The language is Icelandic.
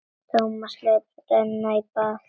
Tómas lét renna í bað.